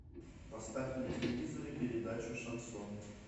поставь на телевизоре передачу шансон